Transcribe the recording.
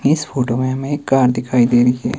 इस फोटो में हमें कार दिखाई दे रही है।